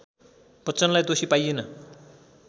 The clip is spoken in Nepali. बच्चनलाई दोषी पाइएन